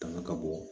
Tanga ka bɔ